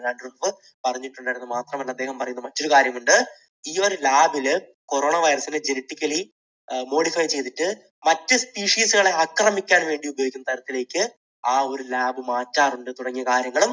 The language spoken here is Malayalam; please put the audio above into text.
അദ്ദേഹം പറഞ്ഞിട്ടുണ്ടായിരുന്നു. മാത്രമല്ല അദ്ദേഹം പറയുന്ന മറ്റൊരു കാര്യമുണ്ട്. ഈ ഒരു lab ൽ corona virus ന് genetically modify ചെയ്തിട്ട് മറ്റ് species കളെ ആക്രമിക്കാൻ വേണ്ടി ഉപയോഗിക്കുന്ന തരത്തിലേക്ക് ആ ഒരു lab മാറ്റാറുണ്ട് തുടങ്ങിയ കാര്യങ്ങളും